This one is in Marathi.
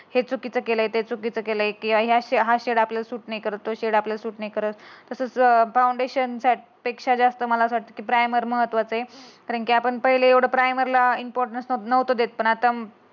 हे चुकीचं केलंय ते चुकीचं केलंय. की या सेड हा सेड चुकीचं नाही करत. तो सेड आपल्याला सूट नाही करत. तसंच फ फाउंडेशन पेक्षा जास्त तर आपल्याला प्रायमर महत्त्वाच आहे. कारण की आपण पहिले प्राईमरला एवढा इम्पॉर्टन्स नव्हत देत पण आता